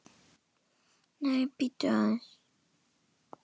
Nei, bíddu aðeins!